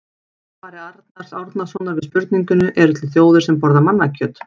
Í svari Arnars Árnasonar við spurningunni Eru til þjóðir sem borða mannakjöt?